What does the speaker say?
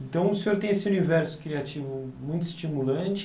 Então, o senhor tem esse universo criativo muito estimulante.